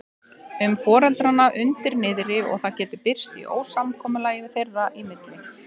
um foreldrana undir niðri og það getur birst í ósamkomulagi þeirra í milli.